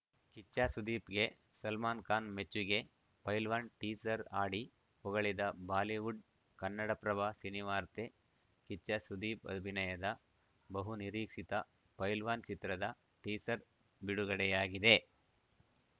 ಕಿಚ್ಚ ಸುದೀಪ್‌ಗೆ ಸಲ್ಮಾನ್‌ ಖಾನ್‌ ಮೆಚ್ಚುಗೆ ಪೈಲ್ವಾನ್‌ ಟೀಸರ್‌ ಹಾಡಿ ಹೊಗಳಿದ ಬಾಲಿವುಡ್‌ ಕನ್ನಡಪ್ರಭ ಸಿನಿವಾರ್ತೆ ಕಿಚ್ಚ ಸುದೀಪ್‌ ಅಭಿನಯದ ಬಹುನಿರೀಕ್ಷಿತ ಪೈಲ್ವಾನ್‌ ಚಿತ್ರದ ಟೀಸರ್‌ ಬಿಡುಗಡೆಯಾಗಿದೆ